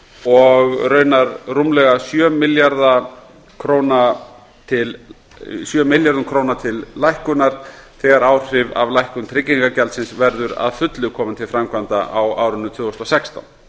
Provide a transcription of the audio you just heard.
og raunar rúmlega sjö milljörðum króna til lækkunar þegar áhrif af lækkun tryggingagjaldsins verða að fullu komin til framkvæmda á árinu tvö þúsund og sextán